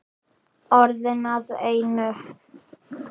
Orðin að einu.